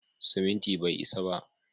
Siminti bai isa ba.